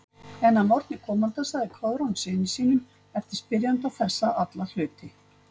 En að morgni komanda sagði Koðrán syni sínum eftir spyrjanda þessa alla hluti.